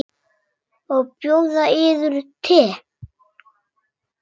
Má bjóða yður te?